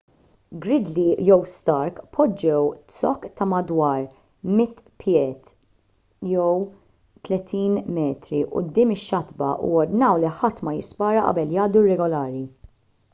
gridley jew stark poġġew zokk ta’ madwar 100 pied 30 m quddiem ix-xatba u ordnaw li ħadd ma jispara qabel jgħaddu r-regolari